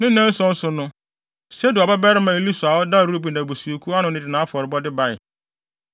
Ne nnaanan so no, Sedeur babarima Elisur a ɔda Ruben abusuakuw ano no de nʼafɔrebɔde bae.